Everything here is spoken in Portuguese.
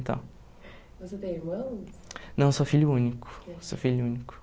E tal. Você tem irmãos? Não, eu sou filho único, eu sou filho único.